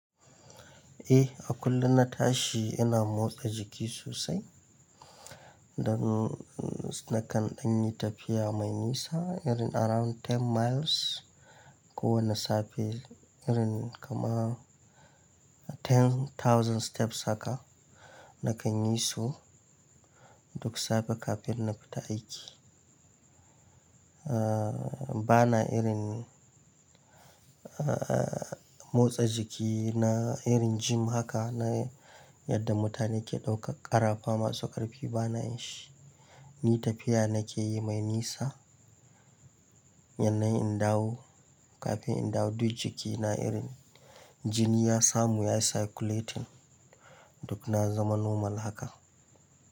Eh, a kullum na tashi ina motsa jiki sosai. Dan, nakan ɗanyi tafiya mai nisa, irin around ten miles kowane safe, irin kamar ten thousand steps haka, na farko na kan yi su duk safe kafin na fita aiki. Bana irin motsa jiki na irin gym haka na yadda mutane ke ɗaukar ƙarafa masu ƙarfi bana yin shi. Ni tafiya nake yi mai nisa da innaayi in dawo, kafin in dawo duk jikina irin, jini ya samu ya yi circulating duk na zama normal haka.